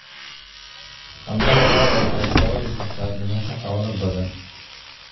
Qandhada lo'da waxay sababi kartaa dhimasho xoolo badan.